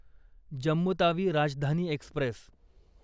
Jammu Tawi Rajdhani Express